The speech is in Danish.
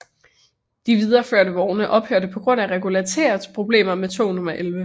De videreførte vogne ophørte på grund af regularitetsproblemer med tog nummer 11